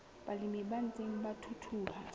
balemi ba ntseng ba thuthuha